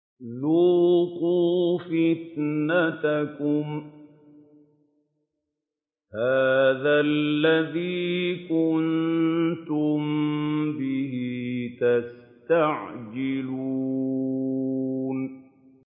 ذُوقُوا فِتْنَتَكُمْ هَٰذَا الَّذِي كُنتُم بِهِ تَسْتَعْجِلُونَ